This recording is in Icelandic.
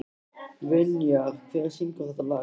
Vinjar, hver syngur þetta lag?